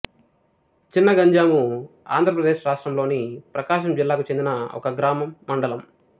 చినగంజాము ఆంధ్ర ప్రదేశ్ రాష్ట్రములోని ప్రకాశం జిల్లాకు చెందిన ఒక గ్రామం మండలం